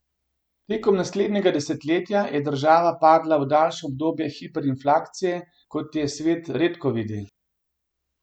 Tekom naslednjega desetletja je država padla v daljše obdobje hiperinflacije, kot jo svet redko vidi.